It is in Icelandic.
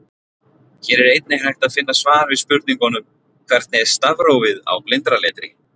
Hér er einnig hægt að finna svar við spurningunum: Hvernig er stafrófið á blindraletri?